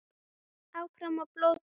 Og hélt áfram að blóta.